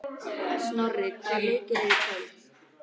Snorri, hvaða leikir eru í kvöld?